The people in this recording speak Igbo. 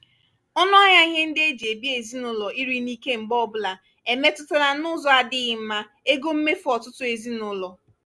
ọnụahịa ihe ndị eji ebi ezinụlọ ịrị n'ike mgbe ọbụla emetụla n'ụzọ adịghị mma ego mmefu ọtụtụ ezinụlọ.